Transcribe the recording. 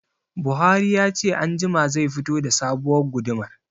Buhari ya ce anjima zai fito da sabuwar gudumar